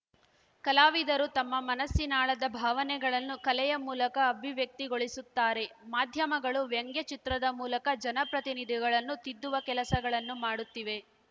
ಕಲಾವಿದರು ತಮ್ಮ ಮನಸ್ಸಿನಾಳದ ಭಾವನೆಗಳನ್ನು ಕಲೆಯ ಮೂಲಕ ಅಭಿವ್ಯಕ್ತಿಗೊಳಿಸುತ್ತಾರೆ ಮಾಧ್ಯಮಗಳು ವ್ಯಂಗ್ಯ ಚಿತ್ರದ ಮೂಲಕ ಜನಪ್ರತಿನಿಧಿಗಳನ್ನು ತಿದ್ದುವ ಕೆಲಸಗಳನ್ನು ಮಾಡುತ್ತಿವೆ